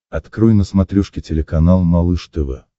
открой на смотрешке телеканал малыш тв